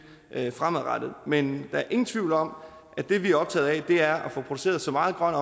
fremadrettet men der er ingen tvivl om at det vi er optaget af er at få produceret så meget grøn